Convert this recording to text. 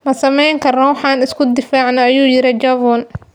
Ma sameyn karno wax aan isku difaacno, ayuu yiri Jovan.